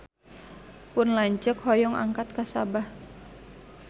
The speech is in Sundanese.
Pun lanceuk hoyong angkat ka Sabah